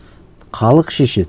халық шешеді